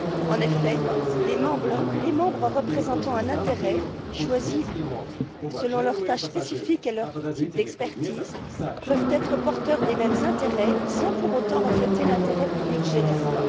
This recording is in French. En effet, les membres représentant un intérêt, choisis selon leurs tâches spécifiques et leur type d'expertise, peuvent être porteurs des mêmes intérêts sans pour autant refléter l'intérêt public général.